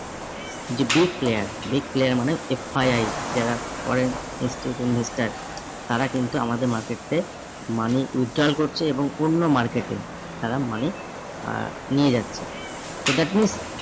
যে big player big player মানে হচ্ছে FII যারা foreign institute investor তারা কিন্তু আমাদের market তে money withdrawal করছে এবং অন্য market এ তারা money আহ নিয়ে যাচ্ছে। তো that means